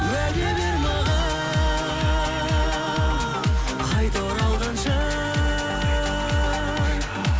уәде бер маған қайта оралғанша